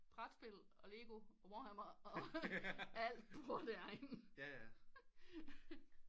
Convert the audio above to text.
Brætspil og lego og warhammer og alt bor der inde